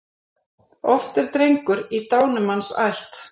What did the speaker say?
Oft er drengur í dánumanns ætt.